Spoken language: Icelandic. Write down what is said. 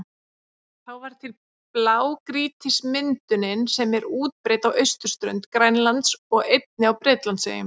Þá varð til blágrýtismyndunin sem er útbreidd á austurströnd Grænlands og einnig á Bretlandseyjum.